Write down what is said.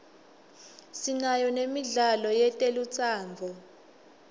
sinayo nemidlalo yetelutsandvo